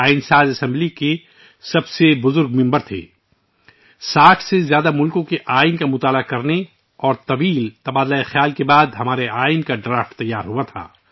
ہمارے آئین کا مسودہ 60 سے زائد ممالک کے آئین کے قریبی مطالعہ اور طویل غور و خوض کے بعد تیا ر کیا گیا